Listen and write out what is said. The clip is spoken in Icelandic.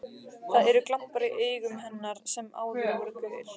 Það eru glampar í augum hennar sem áður voru gul.